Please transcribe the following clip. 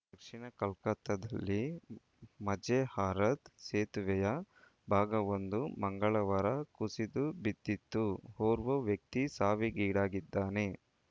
ದಕ್ಷಿಣ ಕೋಲ್ಕತಾದಲ್ಲಿ ಮಜೆರ್ಹಾತ್‌ ಸೇತುವೆಯ ಭಾಗವೊಂದು ಮಂಗಳವಾರ ಕುಸಿದು ಬಿದ್ದಿತ್ತು ಓರ್ವ ವ್ಯಕ್ತಿ ಸಾವಿಗೀಡಾಗಿದ್ದಾನೆ